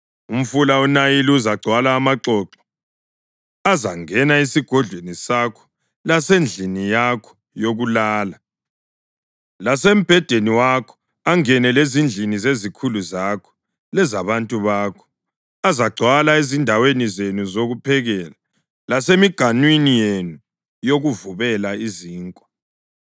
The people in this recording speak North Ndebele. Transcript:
Umfula uNayili uzagcwala amaxoxo. Azangena esigodlweni sakho lasendlini yakho yokulala, lasembhedeni wakho; angene lezindlini zezikhulu zakho lezabantu bakho. Azagcwala ezindaweni zenu zokuphekela, lasemiganwini yenu yokuvubela izinkwa.